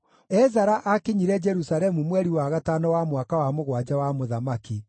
Ezara aakinyire Jerusalemu mweri wa gatano wa mwaka wa mũgwanja wa mũthamaki.